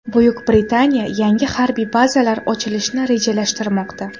Buyuk Britaniya yangi harbiy bazalar ochilishni rejalashtirmoqda.